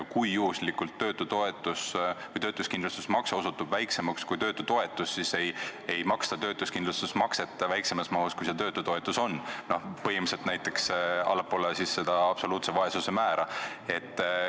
Kui juhuslikult töötuskindlustusmakse osutub väiksemaks kui töötutoetus, siis ei maksta töötuskindlustusmakset väiksemas mahus, kui see töötutoetus on, põhimõtteliselt näiteks allapoole absoluutse vaesuse määra.